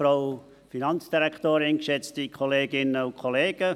Kommissionssprecher der FiKo.